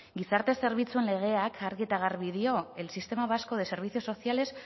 gizarte zerbitzuen legeak argi eta garbi dio el sistema vasco de servicios sociales